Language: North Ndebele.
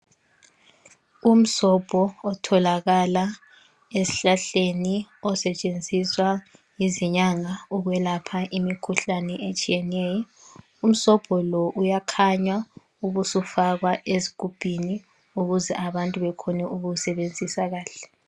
Umsombo otholakala esihlahleni osetshenziswa yizinyanga ukwelapha imikhuhlane etshiyeneyo. Umsombo lo uyakhanywa ubusufakwe ezigubhini ukuze abantu bakhone ukusebenzisa kahle.